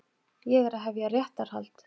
Ég er að hefja réttarhald.